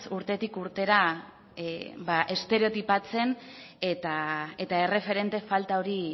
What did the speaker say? urtetik urtera estereotipatzen eta erreferente falta hori